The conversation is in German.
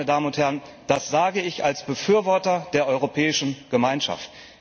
Meine Damen und Herren, das sage ich als Befürworter der Europäischen Gemeinschaft!